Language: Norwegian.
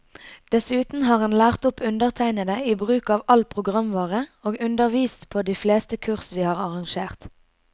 Dessuten har han lært opp undertegnede i bruk av all programvare, og undervist på de fleste kurs vi har arrangert.